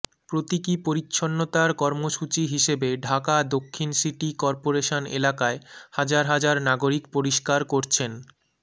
প্রতীকী পরিচ্ছন্নতার কর্মসূচি হিসেবে ঢাকা দক্ষিণ সিটি করপোরেশন এলাকায় হাজার হাজার নাগরিক পরিষ্কার করছেন